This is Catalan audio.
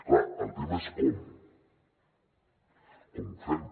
clar el tema és com com ho fem